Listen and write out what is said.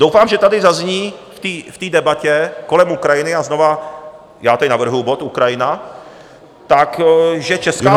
Doufám, že tady zazní v té debatě kolem Ukrajiny, a znovu já tady navrhuji bod Ukrajina, takže česká vláda...